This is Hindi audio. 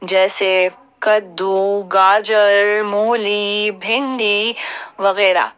जैसे कद्दू गाजर मूली भिंडी वगैरा।